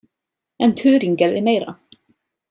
En Turing gerði meira.